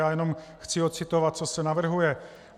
Já jenom chci ocitovat, co se navrhuje.